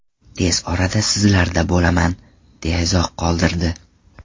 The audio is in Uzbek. Tez orada sizlarda bo‘laman”, deya izoh qoldirdi.